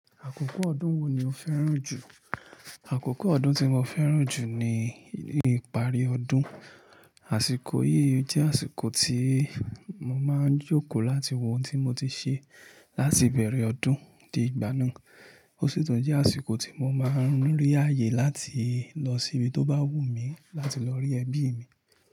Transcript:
Àkókò ọdún wo ni o fẹ́ràn jù? Àkókò ọdún tí mo fẹ́ràn jù ni ìparí ọdún. Àsìkò yìí jẹ́ àsìkò tí mo máa ń jókòó láti wo ohun tí mo ti ṣe láti bẹ̀rẹ̀ ọdún di ìgbà náà. Ó sì tún jẹ́ àsìkò tí mo máa ń rí ààyè láti lọ sí ibi tó bá wù mí láti lọ rí ẹbí mi.